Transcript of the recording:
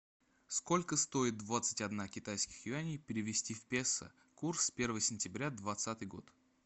сколько стоит двадцать одна китайских юаней перевести в песо курс первого сентября двадцатый год